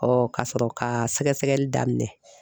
ka sɔrɔ ka sɛgɛsɛgɛli daminɛ.